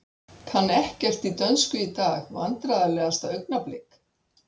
Kann ekkert í dönsku í dag Vandræðalegasta augnablik?